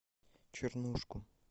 чернушку